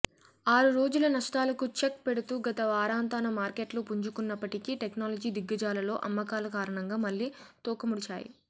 ఆరు రోజుల నష్టాలకు చెక్ పెడుతూ గత వారాంతాన మార్కెట్లు పుంజుకున్నప్పటికీ టెక్నాలజీ దిగ్గజాలలో అమ్మకాల కారణంగా మళ్లీ తోకముడిచాయి